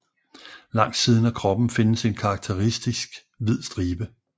Langs siden af kroppen findes en karakteristisk hvid stribe